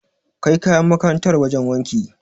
Kai kayan makarantar wajen wanki.